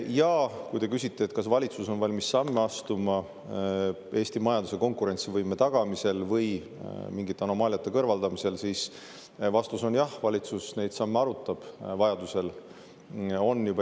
Ja kui te küsite, kas valitsus on valmis samme astuma Eesti majanduse konkurentsivõime tagamiseks või mingite anomaaliate kõrvaldamiseks, siis vastus on jah, valitsus arutab neid samme vajaduse korral.